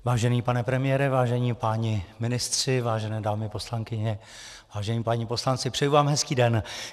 Vážený pane premiére, vážení páni ministři, vážené dámy poslankyně, vážení páni poslanci, přeji vám hezký den.